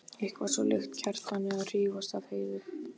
Eitthvað svo líkt Kjartani að hrífast af Heiðu.